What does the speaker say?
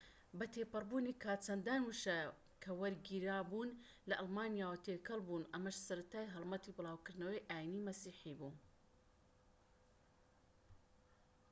بەتێپەڕبوونی کات چەندان وشە کە وەرگیراوبوون لە ئەڵمانیەوە تێکەڵبوون ئەمەش سەرەتای هەڵمەتی بلاوکردنەوەی ئاینی مەسیحی بوو